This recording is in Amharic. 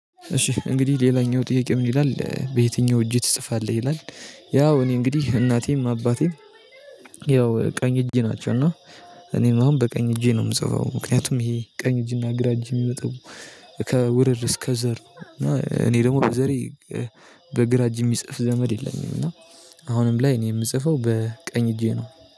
እሺ እንግዲህ ሌላኛው ጥያቄ ምን ይላል? "በየትኛው እጅህ ትጽፋለህ?" ይላል። ያው እኔ እንግዲህ እናቴም አባቴም ያው ቀኝ እጄ ናቸው። እና እኔም አሁን በቀኝ እጄ ነው የምጽፈው። ምክንያቱም ይሄ ቀኝ እጅና ግራ እጅ የሚመጣው ከውርርስ ከዘር ነው። እና እኔ ደግሞ ከዘሬ በግራ እጅ የሚጽፍ ዘመድ የለኝም። እና አሁንም ላይ እኔ የምጽፈው በቀኝ እጄ ነው።